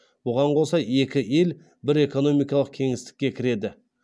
бұған қоса екі ел бір экономикалық кеңістікке кіреді